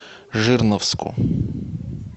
жирновску